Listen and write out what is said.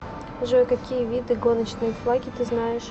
джой какие виды гоночные флаги ты знаешь